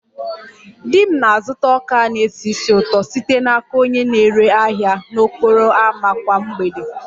Di m na-azụta ọka a na-esi ísì ụtọ site n'aka onye na-ere ahịa n'okporo ámá kwa mgbede